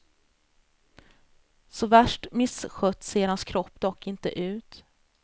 Så värst misskött ser hans kropp dock inte ut.